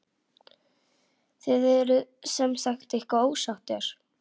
Þið eruð semsagt eitthvað ósáttir?